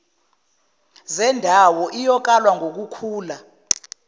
zindawo iyokalwa ngukukhula